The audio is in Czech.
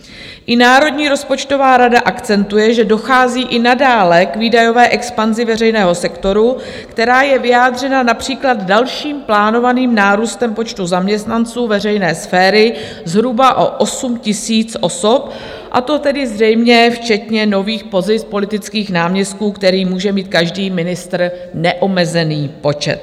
I Národní rozpočtová rada akcentuje, že dochází i nadále k výdajové expanzi veřejného sektoru, která je vyjádřena například dalším plánovaným nárůstem počtu zaměstnanců veřejné sféry zhruba o 8 000 osob, a to tedy zřejmě včetně nových pozic politických náměstků, kterých může mít každý ministr neomezený počet.